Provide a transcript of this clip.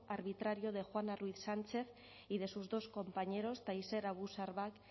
arbitrario de juana ruiz sánchez y de sus dos compañeros tayseer abu sharbak